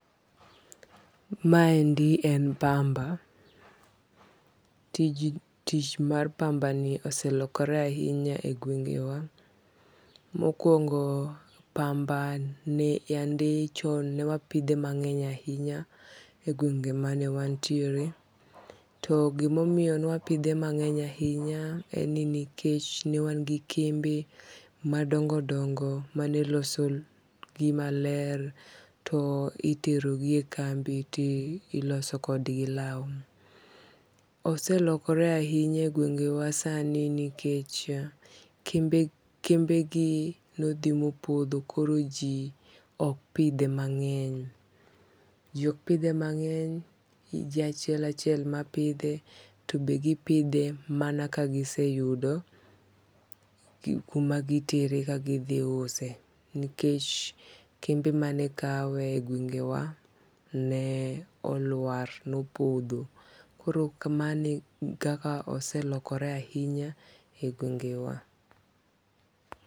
Maendi en pamba, tich mar pamba niendi oselokore ahinya e aluorawa, mokuongo pamba ne yande chan ne wapithe mange'ny ahinya e gwenge' ma wan tiere to gi ma omiyo newapithe mange'ny ahinya, en ni nikeche ne wan gi kembe madongo' dongo' manelosogi maler to iterogi e kambi to iloso kodgi lau, oselokoore ahinya e gwenge'wa sani nikeche kembegi nothi mopotho koro ji ok pithe mange'ny, ji ok pithe mange'ny ji achiel achiel mapithe to be gipithe mana ka giseyudo kumagitere ka thi use nikech kembe mane kawe e gwenge' wa ne olwar ne opotho koro kamano eka oselokore e gwenge'wa.